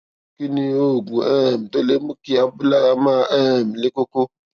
kí ni oògùn um tó lè mú kí abúlára máa um le koko